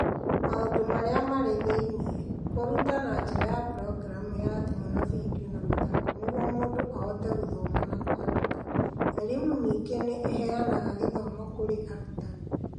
Maũndũ Marĩa Marĩ Thĩinĩ: Kũruta na njĩra ya programu ya thimũ na video na mathako nĩguo mũndũ ahote gũthoma na kwandĩka. e-Limu ningĩ nĩ ĩheanaga gĩthomo kurĩ arutani.